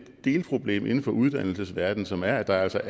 delproblem inden for uddannelsesverdenen som er at der altså